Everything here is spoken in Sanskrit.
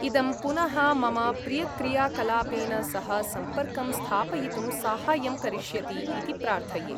इदं पुनः मम प्रियक्रियाकलापेन सह सम्पर्कं स्थापयितुं साहाय्यं करिष्यति इति प्रार्थये।